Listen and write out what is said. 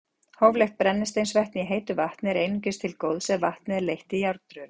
Hóflegt brennisteinsvetni í heitu vatni er einungis til góðs ef vatnið er leitt í járnrörum.